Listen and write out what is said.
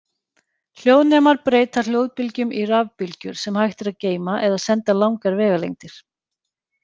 Hljóðnemar breyta hljóðbylgjum í rafbylgjur sem hægt er að geyma eða senda langar vegalengdir.